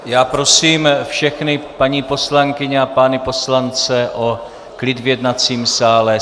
Já prosím všechny paní poslankyně a pány poslance o klid v jednacím sále.